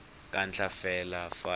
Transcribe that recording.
kwa ntle fela fa e